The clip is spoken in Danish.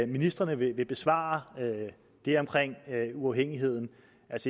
ministrene vil besvare det om uafhængigheden